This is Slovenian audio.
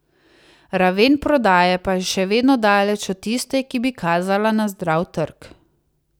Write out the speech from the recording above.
Raven prodaje pa je še vedno daleč od tiste, ki bi kazala na zdrav trg.